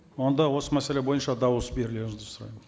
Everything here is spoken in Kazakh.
онда осы мәселе бойынша дауыс берулеріңізді сұраймын